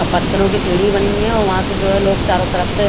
और पत्थरो की सीड़ी बनी है और वहाँ से जो है लोग चारो तरफ से --